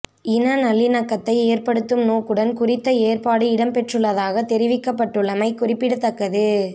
இன நல்லிணக்கத்தை ஏற்படுத்தும் நோக்குடன் குறித்த ஏற்பாடு இடம்பெற்றுள்ளதாக தெரிவிக்கப்பட்டுள்ளமை குறிப்பிடத்தக்கது